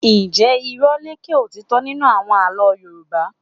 Njẹ irọ́ n lékè ótítọ́ nínú àwọn àlọ́ Yorùbá?